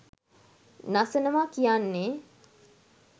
නසනවා කියන්නේ.